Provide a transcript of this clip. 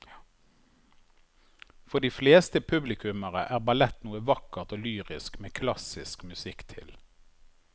For de fleste publikummere er ballett noe vakkert og lyrisk med klassisk musikk til.